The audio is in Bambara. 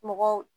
Mɔgɔw